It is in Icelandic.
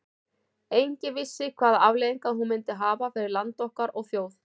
Enginn vissi hvaða afleiðingar hún myndi hafa fyrir land okkar og þjóð.